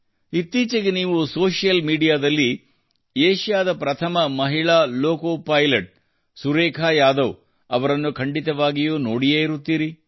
ಇತ್ತೀಚೆಗೆ ನೀವು ಸೋಷಿಯಲ್ ಮೀಡಿಯಾದಲ್ಲಿ ಏಷ್ಯಾದ ಪ್ರಥಮ ಮಹಿಳಾ ಲೋಕೋಪೈಲಟ್ ಸುರೇಖಾ ಯಾದವ್ ಅವರನ್ನು ಖಂಡಿತವಾಗಿಯೂ ನೋಡಿಯೇ ಇರುತ್ತೀರಿ